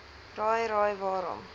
raai raai waarom